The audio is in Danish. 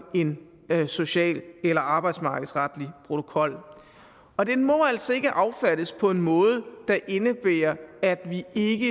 en social eller arbejdsmarkedsretlig protokol og den må altså ikke affattes på en måde der indebærer at vi ikke